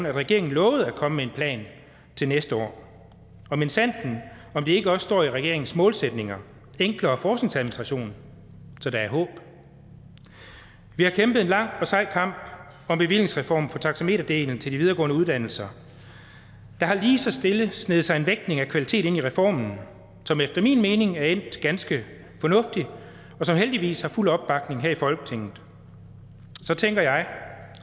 at regeringen lovede at komme med en plan til næste år og minsandten om det ikke også står i regeringens målsætninger enklere forskningsadministration så der er håb vi har kæmpet en lang og sej kamp om bevillingsreformen på taxameterdelen til de videregående uddannelser der er lige så stille sneget sig en vægtning af kvalitet ind i reformen som efter min mening er endt ganske fornuftigt og som heldigvis har fuld opbakning her i folketinget så tænker jeg